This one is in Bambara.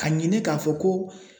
Ka ɲini k'a fɔ ko